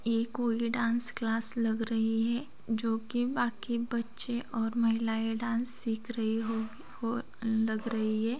ये कोई dance class लग रही है जो की बाक़ी बच्चे और महिलायें डांस सीख रही होगी हो लग रही है।